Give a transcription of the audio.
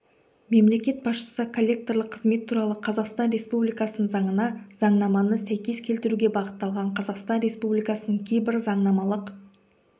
мемлекет басшысы коллекторлық қызмет туралы қазақстан республикасының заңына заңнаманы сәйкес келтіруге бағытталған қазақстан республикасының кейбір заңнамалық